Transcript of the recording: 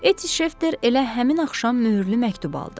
Etti Şefter elə həmin axşam möhürlü məktub aldı.